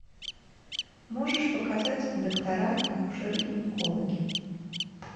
можешь показать доктора акушеры гинекологи